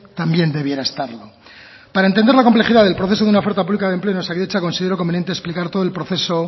también debiera estarlo para entender la complejidad del proceso de una oferta pública de empleo en osakidetza considero conveniente explicar todo el proceso